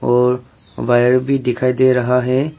और वायर भी दिखाई दे रहा है।